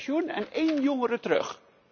Twee met pensioen en één jongere terug.